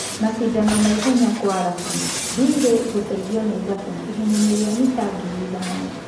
Macindano maihenya Kwaarabu: Mbirĩ gũteithio nĩ Thabũ ihenyainĩ rĩa mita ngiri ithano.